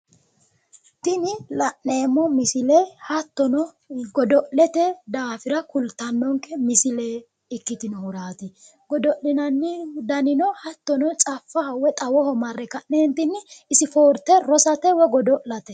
tini la'neemmo misile hattono godo'lete daafira kultannonke misile ikkitinohuraati gidi'linanni danino caffaho wioy xawoho marre spoorte rosate